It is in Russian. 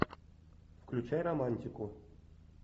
включай романтику